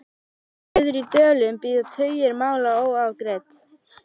Suður í Dölum bíða tugir mála óafgreidd.